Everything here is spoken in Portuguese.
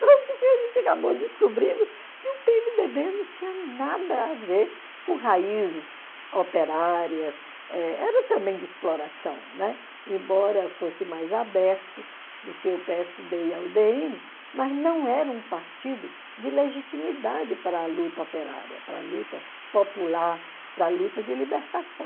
Porque a gente acabou descobrindo que o pê eme dê bê não tinha nada a ver com raízes operárias, eh era também de exploração, né, embora fosse mais aberto do que o pê ésse dê e a u dé ene, mas não era um partido de legitimidade para a luta operária, para a luta popular, para a luta de libertação.